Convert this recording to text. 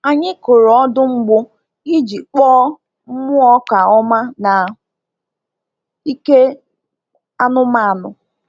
Anyị kụrụ ọdụ mgbụ iji kpọọ mmụọ ọka ọma na ike anụmanụ.